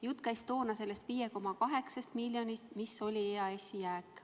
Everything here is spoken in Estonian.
Jutt käis sellest 5,8 miljonist, mis oli EAS-i jääk.